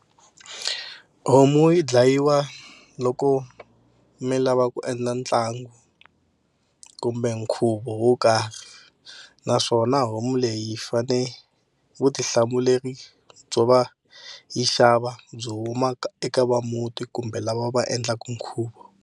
Homu yi dlayiwa loko mi lava ku endla ntlangu kumbe nkhuvo wo karhi naswona homu leyi fane vutihlamuleri byo va yi xava byi huma eka va muti kumbe lava va endlaka nkhuvo.